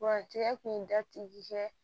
Wa tigɛ kun ye da tigi kɛ